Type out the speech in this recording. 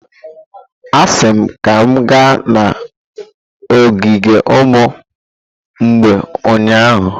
Asị m ka m gaa n'ogige ụmụ mgbei ụnyahụ!